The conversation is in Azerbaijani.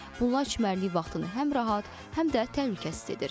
Bunlar çimərlik vaxtını həm rahat, həm də təhlükəsiz edir.